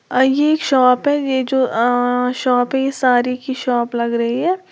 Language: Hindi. अ ये एक शॉप है। ये जो अ-अ-अ शॉप है ये सारी की शॉप लग रही है।